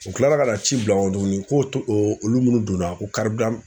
U kilala ka na ci bila n kɔ tuguni ko to olu minnu donna ko